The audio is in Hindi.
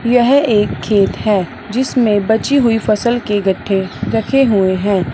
यह एक खेत है जिसमें बची हुई फसल के गट्ठे रखे हुए हैं।